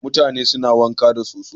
Mutane suna wanka da soso.